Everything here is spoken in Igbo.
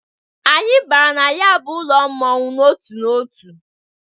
Anyị bara na ya bụ ụlọ mmọnwụ n'otu n'otu.